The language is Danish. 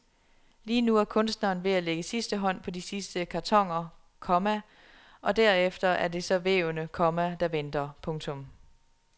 Lige nu er kunstneren ved at lægge sidste hånd på de sidste kartoner, komma og derefter er det så vævene, komma der venter. punktum